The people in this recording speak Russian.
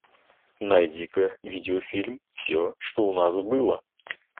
найди ка видеофильм все что у нас было